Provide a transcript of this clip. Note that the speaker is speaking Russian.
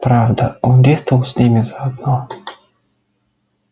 правда он действовал с ними заодно